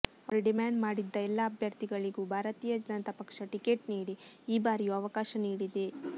ಅವರು ಡಿಮಾಂಡ್ ಮಾಡಿದ್ದ ಎಲ್ಲಾ ಅಭ್ಯರ್ಥಿಗಳಿಗೂ ಭಾರತೀಯ ಜನತಾ ಪಕ್ಷ ಟಿಕೆಟ್ ನೀಡಿ ಈ ಬಾರಿಯೂ ಅವಕಾಶ ನೀಡಿದೆ